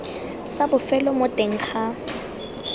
sa bofelo mo teng ga